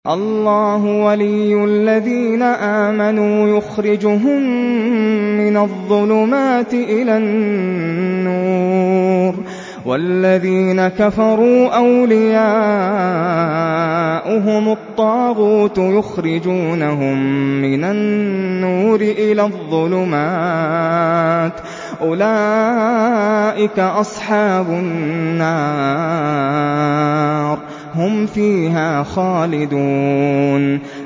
اللَّهُ وَلِيُّ الَّذِينَ آمَنُوا يُخْرِجُهُم مِّنَ الظُّلُمَاتِ إِلَى النُّورِ ۖ وَالَّذِينَ كَفَرُوا أَوْلِيَاؤُهُمُ الطَّاغُوتُ يُخْرِجُونَهُم مِّنَ النُّورِ إِلَى الظُّلُمَاتِ ۗ أُولَٰئِكَ أَصْحَابُ النَّارِ ۖ هُمْ فِيهَا خَالِدُونَ